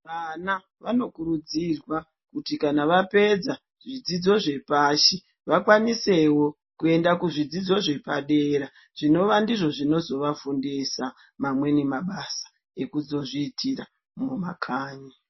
Vana vanokurudzirwa kuti kana vapedza zvidzidzo zvepashi vakwanisewo kuenda kuzvidzidzo zvepadera. Zvinova ndizvo zvinozovafundisa mamwe mabasa ekuzozviitira mumakanyi.